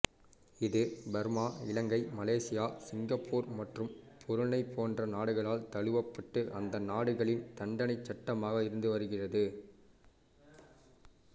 இது Burma Ilangai Malaysia Singapore மற்றும் Brunei போன்ற நாடுகளால் தழுவப்பட்டு அந்த நாடுகளின் தண்டனைச் சட்டமாக இருந்துவருகிறது